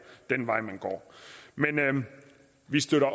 den vej man går vi støtter at